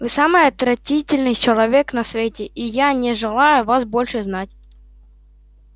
вы самый отвратительный человек на свете и я не желаю вас больше знать